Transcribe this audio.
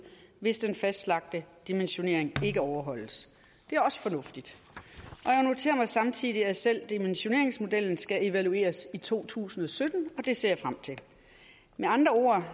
hvis den fastlagte dimensionering ikke overholdes det er også fornuftigt samtidig at selv dimensioneringsmodellen skal evalueres i to tusind og sytten og det ser jeg frem til med andre ord